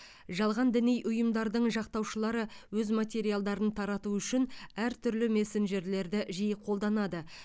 жалған діни ұйымдардың жақтаушылары өз материалдарын тарату үшін әртүрлі мессенджерлерді жиі қолданады